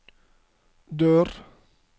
dør